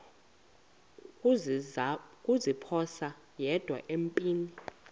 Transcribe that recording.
kuziphosa yedwa empini